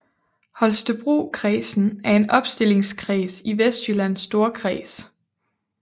Holstebrokredsen er en opstillingskreds i Vestjyllands Storkreds